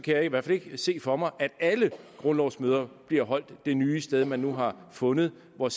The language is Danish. jeg i hvert fald ikke se for mig at alle grundlovsmøder bliver holdt det nye sted man nu har fundet og